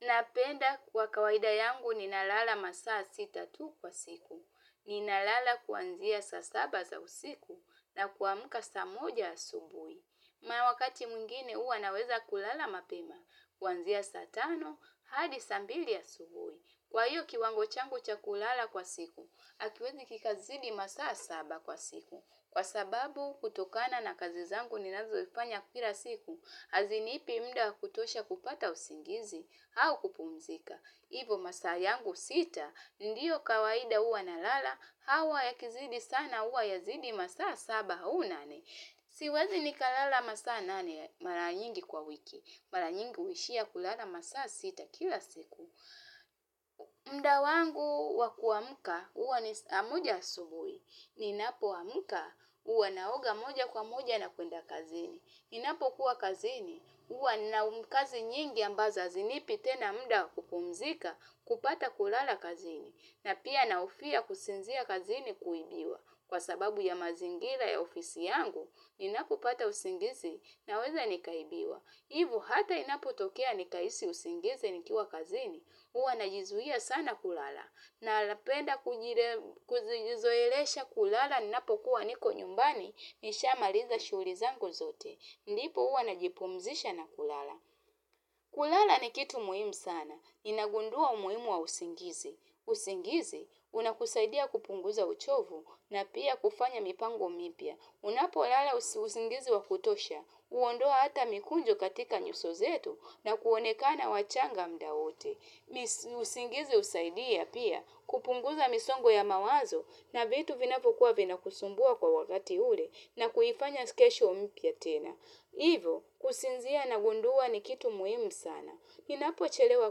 Napenda kwa kawaida yangu ninalala masaa sita tu kwa siku. Ninalala kuanzia saa saba za usiku na kuamuka saa moja asubuhi. Na wakati mwingine huwa naweza kulala mapema, kuanzia saa tano, hadi saa mbili asubuhi. Kwa hiyo kiwango changu cha kulala kwa siku, hakiwezi kikazidi masaa saba kwa siku. Kwa sababu kutokana na kazi zangu ninazofanya kila siku, hazinipi muda wa kutosha kupata usingizi, au kupumzika. Hivo masaa yangu sita, ndiyo kawaida huwa nalala, au yakizidi sana huwa yazidi masaa saba au nane. Siwezi nikalala masaa nane mara nyingi kwa wiki, mara nyingi huishia kulala masaa sita kila siku. Muda wangu wa kuamka huwa ni saa moja asubuhi ninapoamka huwa naoga moja kwa moja na kuenda kazini. Ninapokuwa kazini huwa na kazi nyingi ambazo hazinipi tena muda wa kupumzika kupata kulala kazini. Na pia nahofia kusinzia kazini kuibiwa, kwa sababu ya mazingira ya ofisi yangu ninapopata usingizi naweza nikaibiwa. Hivo hata inapotokea nikahisi usingizi nikiwa kazini. Huwa najizuia sana kulala. Na napenda kujizoelesha kulala ninapokuwa niko nyumbani. Nishamaliza shughuli zangu zote. Ndipo huwa najipumzisha na kulala. Kulala ni kitu muhimu sana. Ninagundua umuhimu wa usingizi. Usingizi, unakusaidia kupunguza uchovu na pia kufanya mipango mipya. Unapolala usingizi wa kutosha. Huondoa hata mikunjo katika nyuso zetu na kuonekana wachanga muda wote. Usingizi husaidia pia kupunguza misongo ya mawazo na vitu vinapokuwa vinakusumbua kwa wakati ule na kuifanya kesho mpya tena. Hivo kusinzia nagundua ni kitu muhimu sana. Ninapochelewa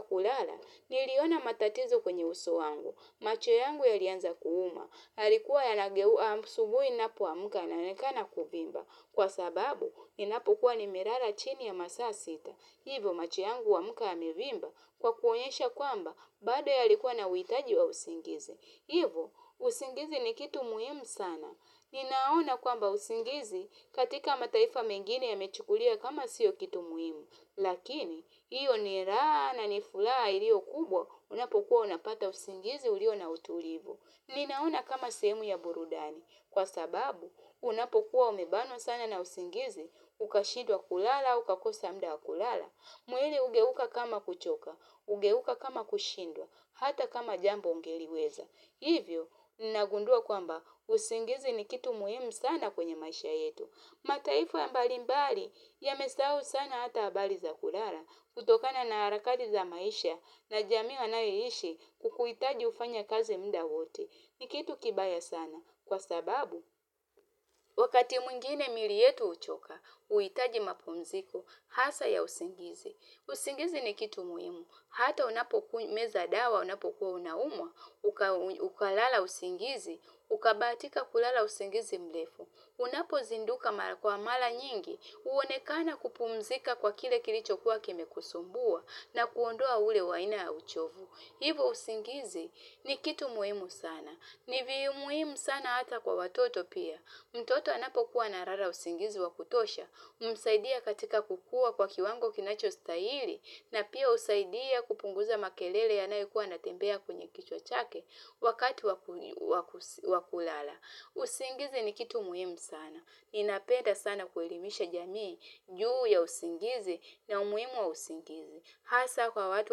kulala niliona matatizo kwenye uso wangu. Macho yangu yalianza kuuma. Yalikuwa yanageua asubuhi ninapoamka inaonekana kuvimba. Kwa sababu, ninapokuwa nimelala chini ya masaa sita. Hivo macho yangu huamka yamevimba kwa kuonyesha kwamba bado yalikuwa na uhitaji wa usingizi. Hivo, usingizi ni kitu muhimu sana. Ninaona kwamba usingizi katika mataifa mengine yamechukuliwa kama sio kitu muhimu. Lakini, hiyo ni raha na ni furaha iliyo kubwa unapokuwa unapata usingizi ulio na utulivu. Ninaona kama sehemu ya burudani. Kwa sababu, unapokuwa umebanwa sana na usingizi, ukashindwa kulala, au ukakosa muda wa kulala. Mwili hugeuka kama kuchoka, hugeuka kama kushindwa, hata kama jambo ungeliweza. Hivyo, nagundua kwamba, usingizi ni kitu muhimu sana kwenye maisha yetu. Mataifa mbalimbali, yamesahau sana hata habari za kulala, kutokana na harakati za maisha na jamii wanayoishi kukuhitaji ufanye kazi muda wote. Ni kitu kibaya sana. Kwa sababu, wakati mwingine miili yetu huchoka, huitaji mapumziko hasa ya usingizi. Usingizi ni kitu muhimu. Hata unapomeza dawa unapokuwa unaumwa, ukalala usingizi, ukabahatika kulala usingizi mrefu. Unapozinduka kwa mara nyingi, huonekana kupumzika kwa kile kilichokuwa kimekusumbua na kuondoa ule wa aina ya uchovu. Hivo usingizi ni kitu muhimu sana. Ni muhimu sana hata kwa watoto pia. Mtoto anapokuwa analala usingizi wa kutosha, humsaidia katika kukua kwa kiwango kinachostahili, na pia husaidia kupunguza makelele yanayokuwa yanatembea kwenye kichwa chake wakati wa kulala. Usingizi ni kitu muhimu sana. Ninapenda sana kuelimisha jamii, juu ya usingizi na umuhimu wa usingizi. Hasa kwa watu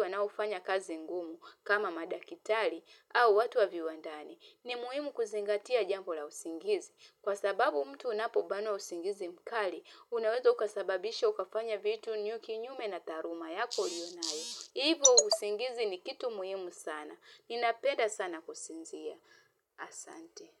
wanaofanya kazi ngumu kama madaktari au watu wa viwandani. Ni muhimu kuzingatia jambo la usingizi. Kwa sababu mtu unapobanwa usingizi mkali, unaweza ukasababisha ukafanya vitu kinyume na taaluma yako uliyo nayo. Hivo usingizi ni kitu muhimu sana. Ninapenda sana kusinzia. Asante.